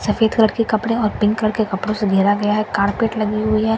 सफेद कलर के कपड़े और पिंक कलर के कपड़ो से घेरा गया हैं कारपेट लगी हुई हैं।